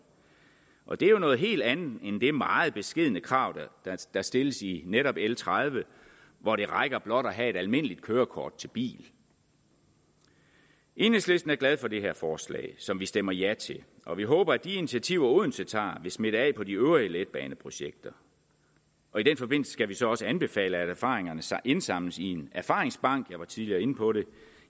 og det er jo noget helt andet end det meget beskedne krav der stilles i netop l tredive hvor det rækker blot at have et almindeligt kørekort til bil enhedslisten er glad for det her forslag som vi stemmer ja til og vi håber at de initiativer odense tager vil smitte af på de øvrige letbaneprojekter i den forbindelse skal vi så også anbefale at erfaringerne indsamles i en erfaringsbank jeg var tidligere inde på det